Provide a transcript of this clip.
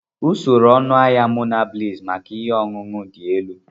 Usoro ọnụahịa Monabliss maka ihe ọṅụṅụ dị elu.